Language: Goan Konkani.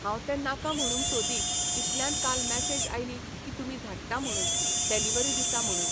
हांव तें नाका म्हणूंक सोदी इतल्यान काल मेसॅज आयली की तुमी धाडटा म्हणून, डेलिव्हरी दिता म्हणून.